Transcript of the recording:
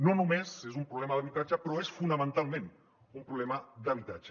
no només és un problema d’habitatge però és fonamentalment un problema d’habitatge